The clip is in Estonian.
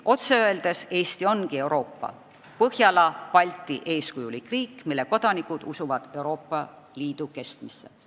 Otse öeldes: Eesti ongi Euroopa, Põhjala-Balti eeskujulik riik, mille kodanikud usuvad Euroopa Liidu kestmisse.